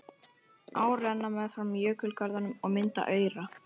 Ár renna meðfram jökulgörðunum og mynda aura.